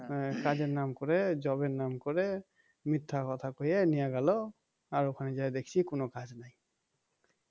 কাজের নাম করে job এর নাম করে মিথ্যে কথা কয়ে নিয়ে গেল আর ওখানে যেয়ে দেখছি কোনো কাজ নাই